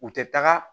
U tɛ taga